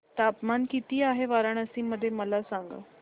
तापमान किती आहे वाराणसी मध्ये मला सांगा